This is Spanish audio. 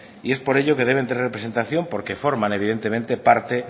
y es por ello que deben tener representación porque forman evidentemente parte